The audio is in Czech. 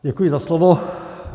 Děkuji za slovo.